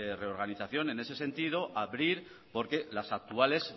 reorganización en ese sentido abrir porque las actuales